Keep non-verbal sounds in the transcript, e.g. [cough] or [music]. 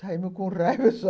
Saímos com raiva só [laughs]